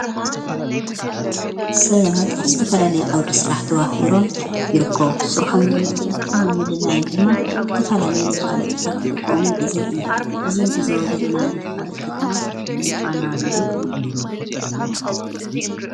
ሰባት ኣብ ዝተፈላለይ ዓውደ ሥራሕ ተዋፊሮም ይርኮው ሥራሖምንፍላጥን ምልላይን ድማ ዝተፋላለይ ምፋለጥታት ኽጥቆሙን ዕዘብ ኢነ እዙ ንዕዘቦ ዘለና ምፋለጥ ድማ ናይ ፋና ሬድዩ እዩ::